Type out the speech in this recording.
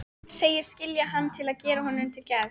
Segist skilja hann til að gera honum til geðs.